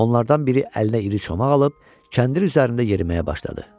Onlardan biri əlinə iri çomaq alıb kəndir üzərində yeriməyə başladı.